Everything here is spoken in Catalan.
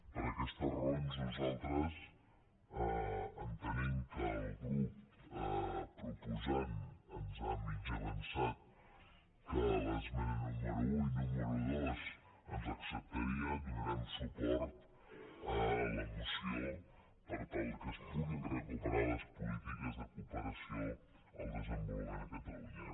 per aquestes raons nosaltres entenent que el grup proposant ens ha mig avançat que les esmenes número un i número dos ens les acceptaria donarem suport a la moció per tal que es puguin recuperar les polítiques de cooperació al desenvolupament a catalunya